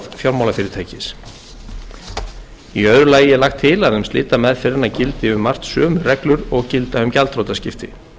fjármálafyrirtækis í öðru lagi er lagt til að um slitameðferðina gildi um margt sömu reglur og gilda um gjaldþrotaskipti